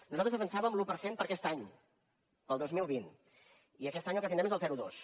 nosaltres defensàvem l’un per cent per a aquest any per al dos mil vint i aquest any el que tindrem és el zero coma dos